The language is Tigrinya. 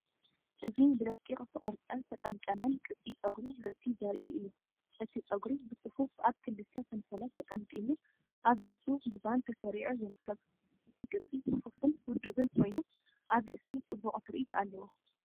እዚ ብደቂቕ ዝተቖርጸን ዝተጠምጠመን ቅዲ ጸጉሪ ርእሲ ዘርኢ እዩ። እቲ ጸጉሪ ብጽፉፍ ኣብ ክልተ ሰንሰለት ተጠምጢሙ ኣብ ርእሱ ብባን ተሰሪዑ ይርከብ። እቲ ቅዲ ጽፉፍን ውዱብን ኮይኑ፡ ኣብ ርእሲ ጽቡቕ ትርኢት ኣለዎ።